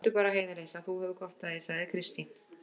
Gráttu bara, Heiða litla, þú hefur gott af því, sagði Kristín.